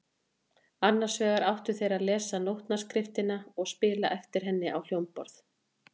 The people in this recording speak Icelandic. Annars vegar áttu þeir að lesa nótnaskriftina og spila eftir henni á hljómborð.